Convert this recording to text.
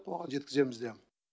оған жеткіземіз де